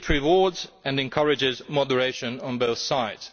It would reward and encourage moderation' on both sides.